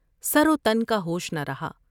سروتن کا ہوش نہ ر ہا ۔